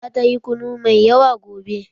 Zata yi kunu mai yawa gobe.